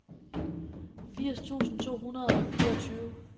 firs tusind to hundrede og fireogtyve